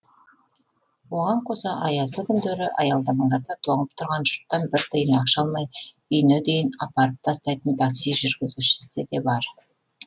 оған қоса аязды күндері аялдамаларда тоңып тұрған жұрттан бір тиын ақша алмай үйіне дейін апарып тастайтын такси жүргізушісі де бар